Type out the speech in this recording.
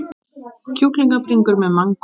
Kjúklingabringur með mangó